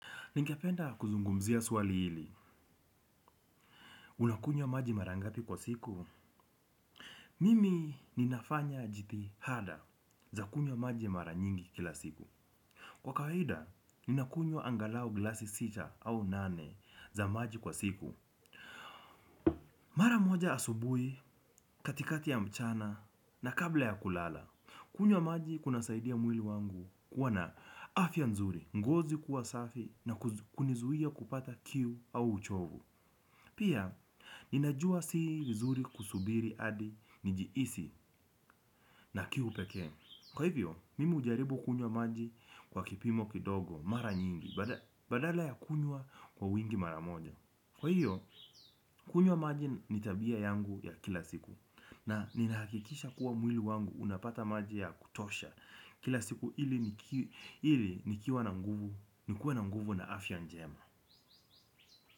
Ningependa kuzungumzia swali hili, unakunywa maji mara ngapi kwa siku? Mimi ninafanya jitihada za kunywa maji mara nyingi kila siku. Kwa kawaida, ninakunywa angalau glasi sita au nane za maji kwa siku. Mara moja asubuhi, katikati ya mchana, na kabla ya kulala, kunywa maji kunasaidia mwili wangu kuwa na afya nzuri, ngozi kuwa safi na kunizuia kupata kiu au uchovu. Pia, ninajua si vizuri kusubiri hadi, njihisi na kiu pekee. Kwa hivyo, mimi hujaribu kunywa maji kwa kipimo kidogo, mara nyingi, badala ya kunywa kwa wingi mara moja. Kwa hivyo, kunywa maji ni tabia yangu ya kila siku. Na ninahakikisha kuwa mwili wangu unapata maji ya kutosha. Kila siku ili nikiwa na nguvu nikuwe na nguvu na afya njema.